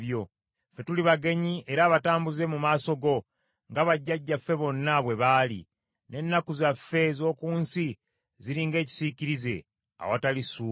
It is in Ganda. Ffe tuli bagenyi era abatambuze mu maaso go, nga bajjajjaffe bonna bwe baali, n’ennaku zaffe ez’oku nsi ziri ng’ekisiikirize, awatali ssuubi.